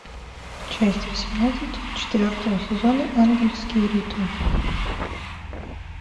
часть восемнадцать четвертого сезона ангельские ритмы